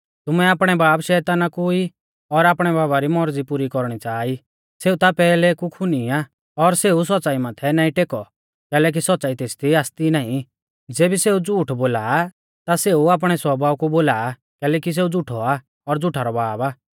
तुमै आपणै बाब शैताना कु ई और आपणै बाबा री मौरज़ी पुरी कौरणी च़ाहा ई सेऊ ता पैहलै कु खुनी आ और सेऊ सौच़्च़ाई माथै नाईं टेकौ कैलैकि सौच़्च़ाई तेसदी आसती नाईं ज़ेबी सेऊ झ़ूठ बोला आ ता सेऊ आपणै स्वभाव कु बोला आ कैलैकि सेऊ झ़ुठौ आ और झ़ुठा रौ बाब आ